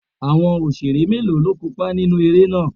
Àwọn Òṣeré mélòó ni ó kópa nínú eré náà?